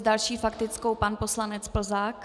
S další faktickou pan poslanec Plzák.